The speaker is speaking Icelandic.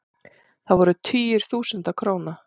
Það voru tugir þúsunda króna.